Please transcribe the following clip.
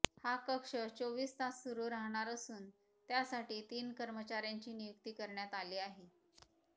हा कक्ष चोवीस तास सुरू राहणार असून त्यासाठी तीन कर्मचाऱ्यांची नियुक्ती करण्यात आली आहे